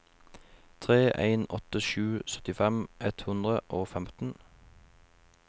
tre en åtte sju syttifem ett hundre og femten